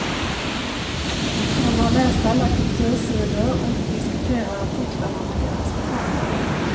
Hon har läst alla kultursidor och diskuterar artiklarna med deras författare.